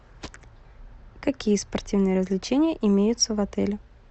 какие спортивные развлечения имеются в отеле